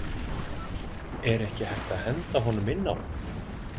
Er ekki hægt að henda honum inn á?